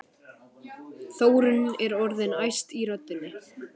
Þórunn er orðin æst í röddinni.